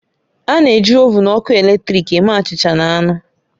A na-eji ovụn ọkụ eletrik eme achịcha na anụ.